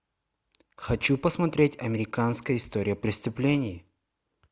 хочу посмотреть американская история преступлений